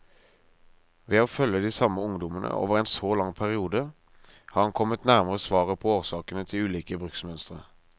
Ved å følge de samme ungdommene over en så lang periode, har han kommet nærmere svaret på årsakene til ulike bruksmønstre.